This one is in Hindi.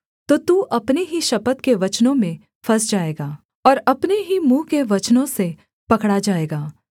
तो तू अपने ही शपथ के वचनों में फँस जाएगा और अपने ही मुँह के वचनों से पकड़ा जाएगा